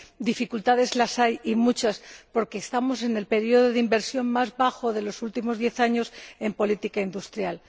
Dificultades las hay y muchas, porque estamos en el período de inversión más bajo de los últimos diez años en política industrial.